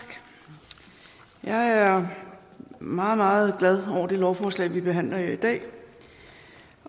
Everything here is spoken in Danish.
jeg er meget meget glad over det lovforslag vi behandler her i dag